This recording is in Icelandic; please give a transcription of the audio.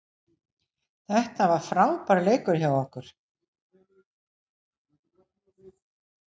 Þetta var frábær leikur hjá okkur